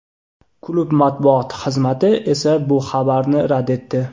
Klub matbuot xizmati esa bu xabarni rad etdi.